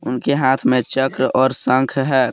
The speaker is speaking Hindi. उनके हाथ में चक्र और शंख है।